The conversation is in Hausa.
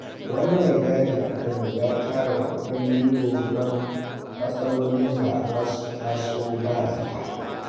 Wani maigadi a Kano ya tara kuɗin euro don matsalolin da za su taso ba-zata.